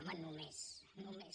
home només només